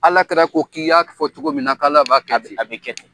Ala kira ko k'i y'a fɔ cogo min na k'Ala b'a kɛ ten